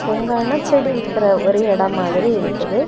ஓங்கான செடி விக்கிற ஒரு இடம் மாதிரி இருக்குது.